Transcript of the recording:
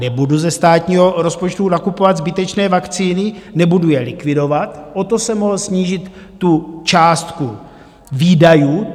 Nebudu ze státního rozpočtu nakupovat zbytečné vakcíny, nebudu je likvidovat, o to jsem mohl snížit tu částku výdajů.